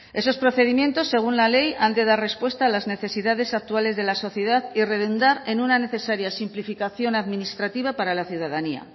esos procedimientos según la ley han de dar respuesta a las necesidades actuales de la sociedad y redundar en una necesaria simplificación administrativa para la ciudadanía